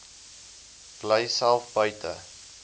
bly self buite